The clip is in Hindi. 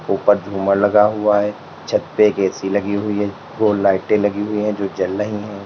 उपर झूमर लगा हुआ है छत पे ए_सी लगी हुई है रोड लाइटें लगी हुई है जो जल रही है।